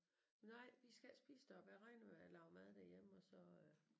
Nej vi skal ikke spise deroppe jeg regner med at lave mad derhjemme og så øh